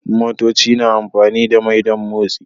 Motoci na amfani da mai don motsi